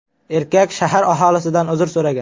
Erkak shahar aholisidan uzr so‘ragan.